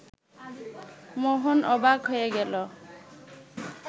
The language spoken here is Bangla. মোহন অবাক হয়ে গেল